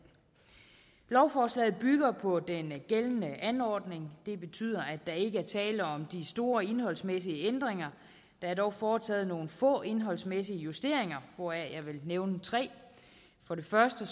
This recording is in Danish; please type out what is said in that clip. lovforslaget bygger på den gældende anordning det betyder at der ikke er tale om de store indholdsmæssige ændringer der er dog foretaget nogle få indholdsmæssige justeringer hvoraf jeg vil nævne tre for det første